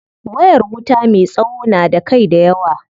Wayar wuta me tsawo na da kai dayawa.